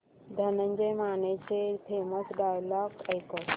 धनंजय मानेचे famous dialogue ऐकव